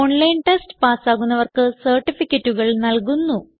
online test പാസ്സാകുന്നവർക്ക് സർട്ടിഫികറ്റുകൾ നല്കുന്നു